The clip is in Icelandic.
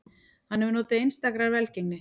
Hann hefur notið einstakrar velgengni